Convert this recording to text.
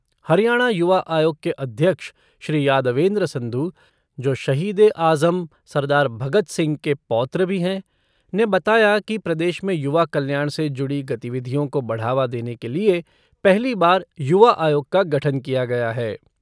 हरियाणा युवा आयोग के अध्यक्ष, श्री यादवेन्द्र संधु जो शहीद ए आज़म सरदार भगत सिंह के पौत्र भी हैं, ने बताया कि प्रदेश में युवा कल्याण से जुड़ी गतिविधियों को बढ़ावा देने के लिए पहली बार युवा आयोग का गठन किया गया है।